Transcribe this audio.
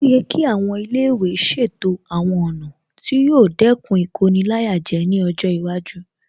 Ó yẹ kí àwọn ilé ìwé ṣètò àwọn ọ̀nà tí yóò dẹ́kun Ìkoni-láyàjẹ ní ọjọ́ iwájú